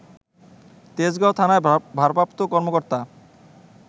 তেজগাঁও থানার ভারপ্রাপ্ত কর্মকর্তা